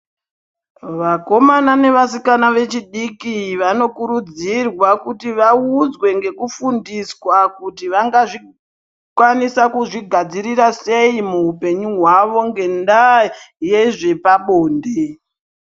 Vakomana nevasikana vechidiki vanokurudzirwa kuti vaudzwe ngekufundiswa kuti vangazvikwanisa kuzvigadzirira sei muhupenyu hwavo ngendaa yezvepabonde.